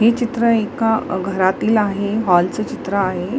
ही चित्र एका घरातील आहे हॉल च चित्र आहे.